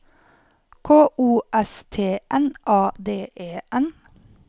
K O S T N A D E N